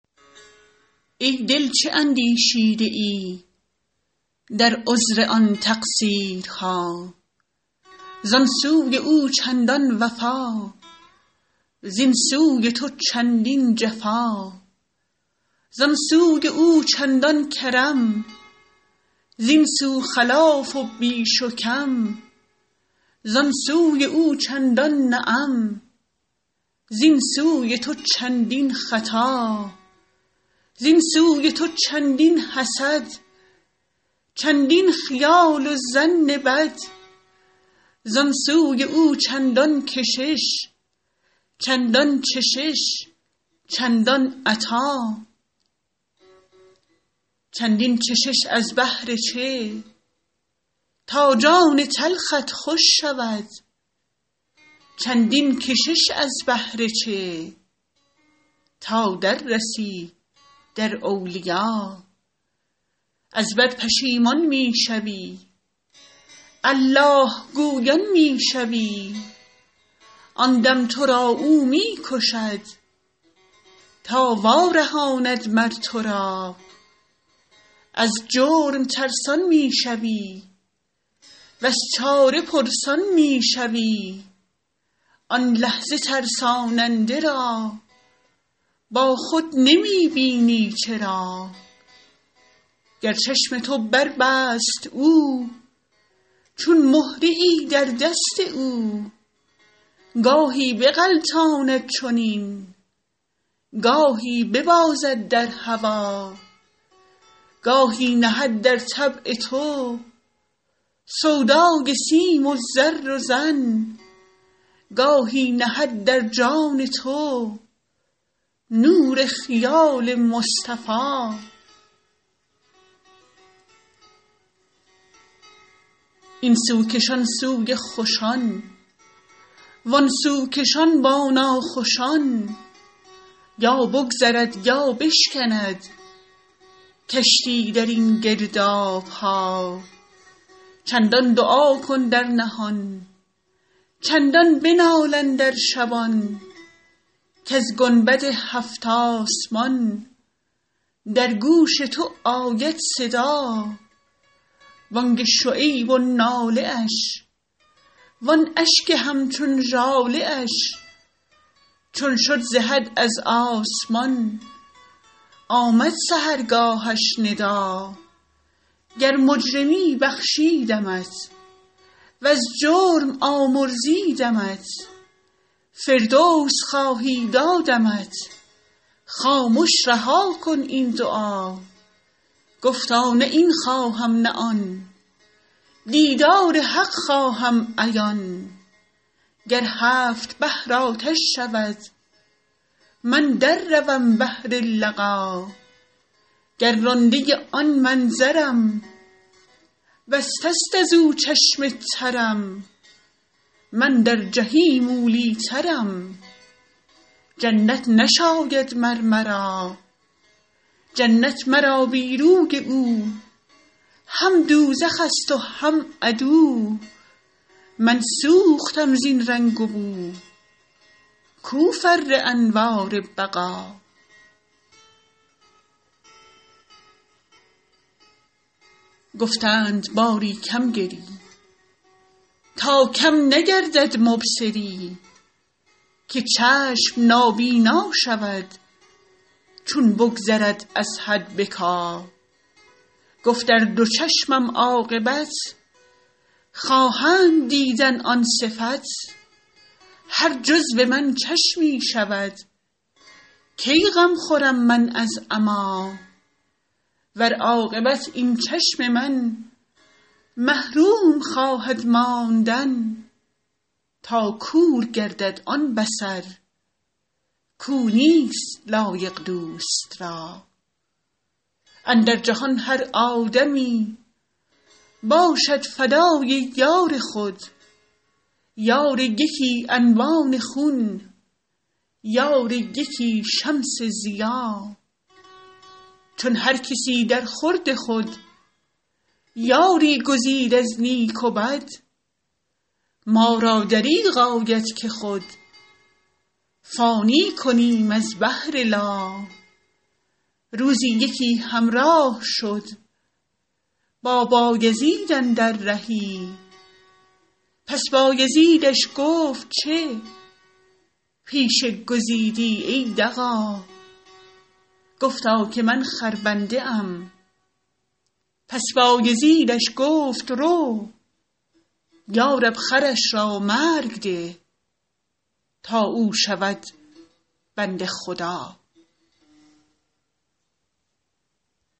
ای دل چه اندیشیده ای در عذر آن تقصیرها زان سوی او چندان وفا زین سوی تو چندین جفا زان سوی او چندان کرم زین سو خلاف و بیش و کم زان سوی او چندان نعم زین سوی تو چندین خطا زین سوی تو چندین حسد چندین خیال و ظن بد زان سوی او چندان کشش چندان چشش چندان عطا چندین چشش از بهر چه تا جان تلخت خوش شود چندین کشش از بهر چه تا در رسی در اولیا از بد پشیمان می شوی الله گویان می شوی آن دم تو را او می کشد تا وارهاند مر تو را از جرم ترسان می شوی وز چاره پرسان می شوی آن لحظه ترساننده را با خود نمی بینی چرا گر چشم تو بربست او چون مهره ای در دست او گاهی بغلطاند چنین گاهی ببازد در هوا گاهی نهد در طبع تو سودای سیم و زر و زن گاهی نهد در جان تو نور خیال مصطفیٰ این سو کشان سوی خوشان وان سو کشان با ناخوشان یا بگذرد یا بشکند کشتی در این گرداب ها چندان دعا کن در نهان چندان بنال اندر شبان کز گنبد هفت آسمان در گوش تو آید صدا بانگ شعیب و ناله اش وان اشک همچون ژاله اش چون شد ز حد از آسمان آمد سحرگاهش ندا گر مجرمی بخشیدمت وز جرم آمرزیدمت فردوس خواهی دادمت خامش رها کن این دعا گفتا نه این خواهم نه آن دیدار حق خواهم عیان گر هفت بحر آتش شود من در روم بهر لقا گر رانده آن منظرم بسته است از او چشم ترم من در جحیم اولی ٰترم جنت نشاید مر مرا جنت مرا بی روی او هم دوزخ ست و هم عدو من سوختم زین رنگ و بو کو فر انوار بقا گفتند باری کم گری تا کم نگردد مبصری که چشم نابینا شود چون بگذرد از حد بکا گفت ار دو چشمم عاقبت خواهند دیدن آن صفت هر جزو من چشمی شود کی غم خورم من از عمیٰ ور عاقبت این چشم من محروم خواهد ماندن تا کور گردد آن بصر کو نیست لایق دوست را اندر جهان هر آدمی باشد فدای یار خود یار یکی انبان خون یار یکی شمس ضیا چون هر کسی درخورد خود یاری گزید از نیک و بد ما را دریغ آید که خود فانی کنیم از بهر لا روزی یکی همراه شد با بایزید اندر رهی پس بایزیدش گفت چه پیشه گزیدی ای دغا گفتا که من خربنده ام پس بایزیدش گفت رو یا رب خرش را مرگ ده تا او شود بنده خدا